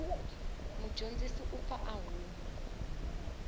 mudyondzi u pfa a huma